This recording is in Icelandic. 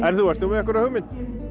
þú ert þú með einhverja hugmynd